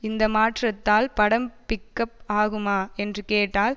இந்த மாற்றத்தால் படம் பிக்கப் ஆகுமா என்று கேட்டால்